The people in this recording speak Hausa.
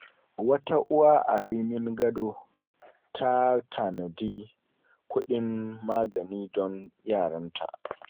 Wata uwa a Rimin Gado ta tanadi kudin magani don yaranta.